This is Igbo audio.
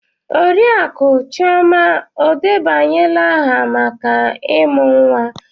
Oriakụe chioma o debanyela aha maka ịmụ nwa?